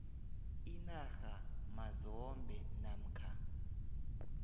inarha mazombe namkha